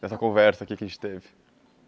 Dessa conversa aqui que a gente teve.